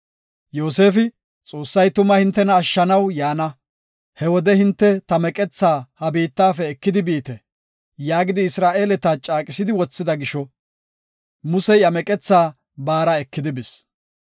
Yoosefi, “Xoossay tuma hintena ashshanaw yaana. He wode hinte ta meqethaa ha biittafe ekidi biite” yaagidi Isra7eeleta caaqisidi wothida gisho Musey iya meqethaa baara ekidi bis.